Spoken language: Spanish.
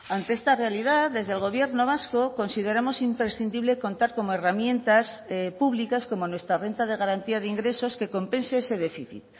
ante esta realidad desde el gobierno vasco consideramos imprescindible contar como herramientas públicas como nuestra renta de garantía de ingresos que compense ese déficit